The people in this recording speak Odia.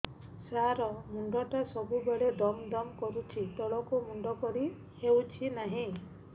ସାର ମୁଣ୍ଡ ଟା ସବୁ ବେଳେ ଦମ ଦମ କରୁଛି ତଳକୁ ମୁଣ୍ଡ କରି ହେଉଛି ନାହିଁ